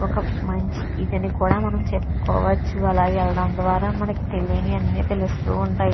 ఒక మంచి ఇతని కూడా మనం చెప్పుకోవచ్చు. అలాగే వేలడం ద్వారా మనకు తెలియని అన్ని తెలుస్తూ ఉంటాయి.